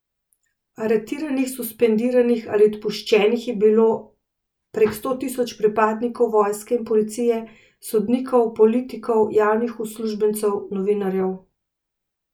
Aretiranih, suspendiranih ali odpuščenih je bilo prek sto tisoč pripadnikov vojske in policije, sodnikov, politikov, javnih uslužbencev, novinarjev.